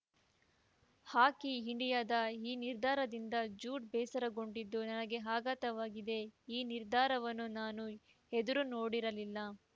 ಹಾಕಿ ಇಂಡಿಯಾದ ಈ ನಿರ್ಧಾರದಿಂದ ಜೂಡ್‌ ಬೇಸರಗೊಂಡಿದ್ದು ನನಗೆ ಆಘಾತವಾಗಿದೆ ಈ ನಿರ್ಧಾರವನ್ನು ನಾನು ಎದುರು ನೋಡಿರಲಿಲ್ಲ